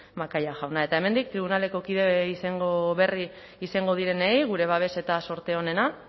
macaya jauna eta hemendik tribunaleko kide izango berri izango direnei gure babes eta zorte onena